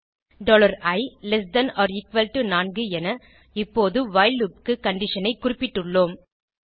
i less than or equal to 4 என இப்போது while loop க்கு conditionஐ குறிப்பிட்டுள்ளோம்